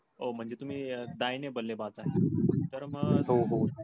ओ म्हंजे तुम्ही दाहीने बल्लेबाज आहे तर मग?